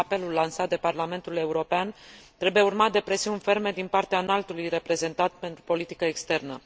Cred că apelul lansat de Parlamentul European trebuie urmat de presiuni ferme din partea Înaltului Reprezentant pentru politica externă.